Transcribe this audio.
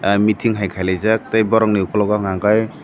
tei meating hai kaijak tei borok ni okologo hingka kei.